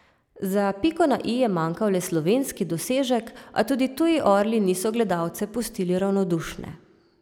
Za piko na i je manjkal le slovenski dosežek, a tudi tuji orli niso gledalce pustili ravnodušne.